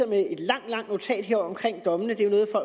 med et langt langt notat om dommen det